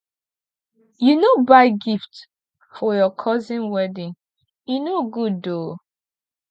you no buy gift for your cousin wedding e no good oo